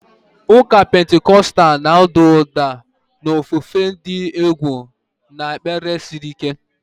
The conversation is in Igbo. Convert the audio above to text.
Ụka Pentikọstal na-ada ụda na ofufe dị egwu na ekpere siri ike.